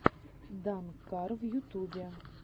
данкар в ютубе